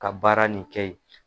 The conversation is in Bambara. Ka baara nin kɛ yen